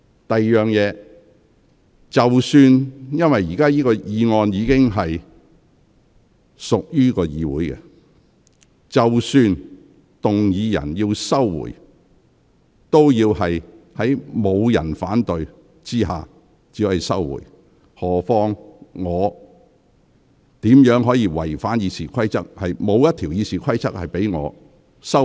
第二，由於本會已就此項議案展開辯論，即使動議人要求撤回議案，也要在沒有人反對下才可以撤回，我怎能違反《議事規則》行事？